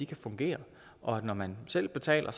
kan fungere og at når man selv betaler